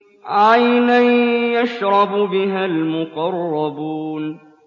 عَيْنًا يَشْرَبُ بِهَا الْمُقَرَّبُونَ